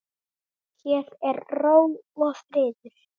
Hér er ró og friður.